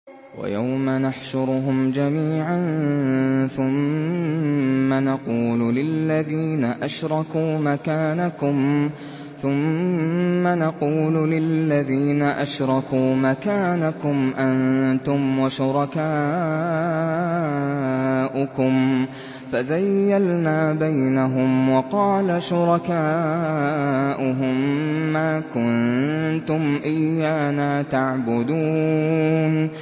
وَيَوْمَ نَحْشُرُهُمْ جَمِيعًا ثُمَّ نَقُولُ لِلَّذِينَ أَشْرَكُوا مَكَانَكُمْ أَنتُمْ وَشُرَكَاؤُكُمْ ۚ فَزَيَّلْنَا بَيْنَهُمْ ۖ وَقَالَ شُرَكَاؤُهُم مَّا كُنتُمْ إِيَّانَا تَعْبُدُونَ